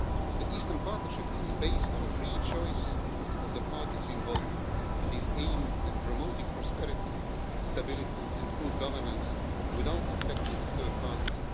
The Eastern Partnership is based on a free choice of the parties involved and is aimed at promoting prosperity, stability and good governance without affecting third parties.